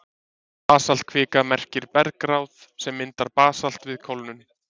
Basaltkvika merkir bergbráð sem myndar basalt við kólnun.